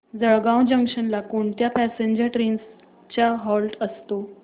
Jalgaon junction ला कोणत्या passenger trains चा हॉल्ट असतो